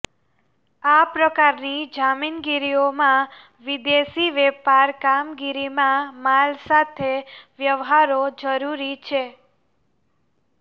આ પ્રકારની જામીનગીરીઓમાં વિદેશી વેપાર કામગીરીમાં માલ સાથે વ્યવહારો જરૂરી છે